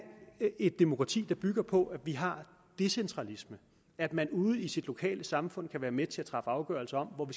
et demokrati der bygger på at vi har decentralisme at man ude i sit lokale samfund kan være med til at træffe afgørelse om hvor